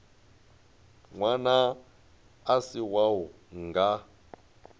ṅwana a si wau nga